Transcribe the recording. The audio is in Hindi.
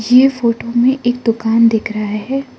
ये फोटो में एक दुकान दिख रहा है।